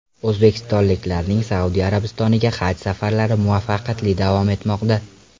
O‘zbekistonliklarning Saudiya Arabistoniga haj safarlari muvaffaqiyatli davom etmoqda.